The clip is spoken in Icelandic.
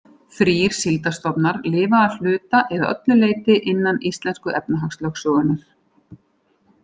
Þrír síldarstofnar lifa að hluta eða öllu leyti innan íslensku efnahagslögsögunnar.